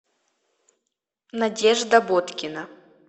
надежда боткина